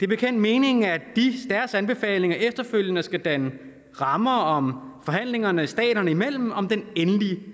bekendt meningen at deres anbefalinger efterfølgende skal danne rammer om forhandlingerne staterne imellem om den endelige